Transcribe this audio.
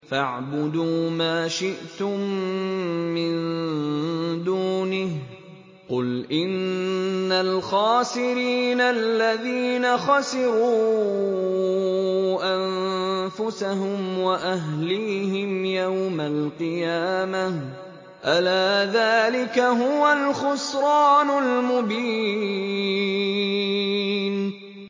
فَاعْبُدُوا مَا شِئْتُم مِّن دُونِهِ ۗ قُلْ إِنَّ الْخَاسِرِينَ الَّذِينَ خَسِرُوا أَنفُسَهُمْ وَأَهْلِيهِمْ يَوْمَ الْقِيَامَةِ ۗ أَلَا ذَٰلِكَ هُوَ الْخُسْرَانُ الْمُبِينُ